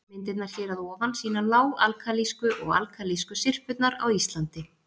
Myndirnar hér að ofan sýna lág-alkalísku og alkalísku syrpurnar á Íslandi.